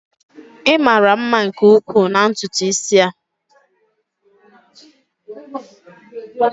Ị mara mma nke ukwuu na ntutu isi a.